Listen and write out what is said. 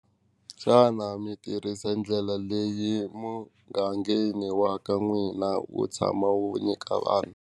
Xana mi tirhisa ndlela leyi mugangeni wa ka n'wina wu tshama wu nyika vanhu.